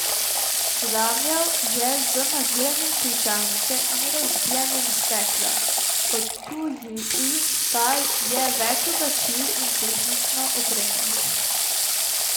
Vlamljal je z naviranjem ključavnice in razbijanjem stekla, odtujil pa je več oblačil in tehnično opremo.